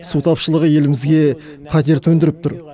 су тапшылығы елімізге қатер төндіріп тұр